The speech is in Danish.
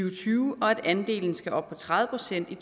og tyve og at andelen skal op på tredive procent i